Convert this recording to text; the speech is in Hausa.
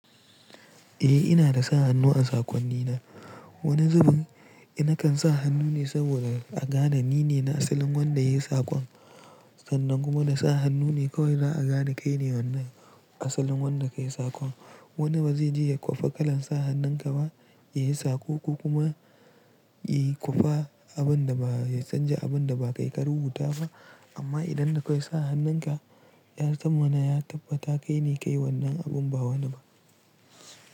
Eh ina da sa hannu a sakonni na. Wani zubin eh na kan sa hannu ne saboda agane ni ne na asalin wanda ya yi sakon sannan kuma na sa hannu ne kawai za'a gane kai ne wannan asalin wanda ka yi sakon. Wani ba zai je ya kwafa kalan sa hannun ka ba, ya yi sako ko kuma ya kwafa abun da ba ya canja abun da ba kai ka rubuta ba amma idan da dakwai sa hannun ka, ya zamana ya tabbata kai ne kayi wannan abun ba wani ba.